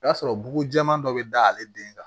O y'a sɔrɔ bugujɛman dɔ bɛ da ale den kan